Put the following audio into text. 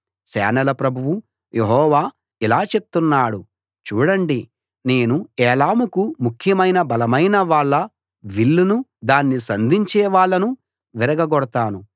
సేనల ప్రభువు యెహోవా ఇలా చెప్తున్నాడు చూడండి నేను ఏలాముకు ముఖ్య బలమైన వాళ్ళ విల్లునూ దాన్ని సంధించే వాళ్ళనూ విరగగొడతాను